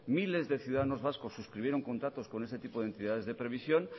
miles de ciudadanos vascos suscribieron contactos con ese tipo de entidades de previsión